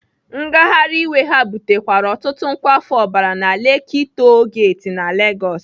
Ngagharị iwe ha butekwara ọtụtụ nkwafu ọbara na Lekki Toll Gate na Legosi.